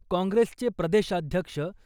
काँग्रेसचे प्रदेशाध्यक्ष